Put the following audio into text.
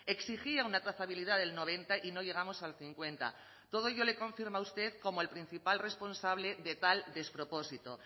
exigía una trazabilidad del noventa y no llegamos al cincuenta todo ello le confirma usted como el principal responsable de tal despropósito